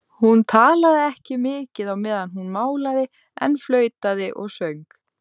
Stefánssyni sem bjó í sama hverfi og Sóldís og ég fann hann.